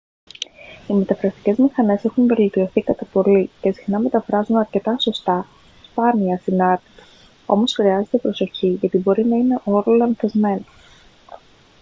οι μεταφραστικές μηχανές έχουν βελτιωθεί κατά πολύ και συχνά μεταφράζουν αρκετά σωστά σπάνια ασυνάρτητα όμως χρειάζεται προσοχή γιατί μπορεί να είναι όλο λανθασμένο